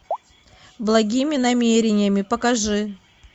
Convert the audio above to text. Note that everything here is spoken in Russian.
благими намерениями покажи